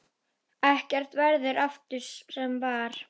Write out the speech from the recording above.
Ekkert verður aftur sem var.